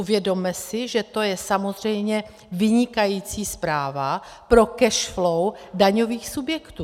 Uvědomme si, že to je samozřejmě vynikající zpráva pro cash flow daňových subjektů.